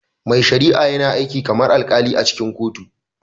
Mai shari'a yana aiki kamar alkali a cikin kotu